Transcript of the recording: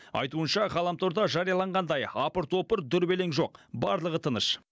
айтуынша ғаламторда жарияланғандай апыр топыр дүрбелең жоқ барлығы тыныш